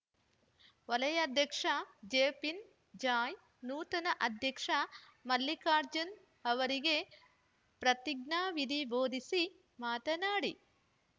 ವಲಯಾಧ್ಯಕ್ಷ ಜೆಫಿನ್‌ ಜಾಯ್‌ ನೂತನ ಅಧ್ಯಕ್ಷ ಮಲ್ಲಿಕಾರ್ಜುನ್‌ ಅವರಿಗೆ ಪ್ರತಿಜ್ಞಾವಿಧಿ ಬೋಧಿಸಿ ಮಾತನಾಡಿ